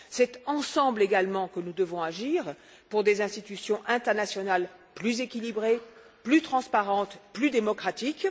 C'est ensemble également que nous devons agir pour des institutions internationales plus équilibrées, plus transparentes, plus démocratiques.